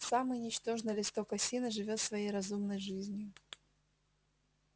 самый ничтожный листок осины живёт своей разумной жизнью